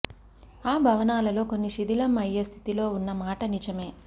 ఆ భవనాలలో కొన్ని శిథిలం అయ్యే స్థితిలో ఉన్న మాట నిజమే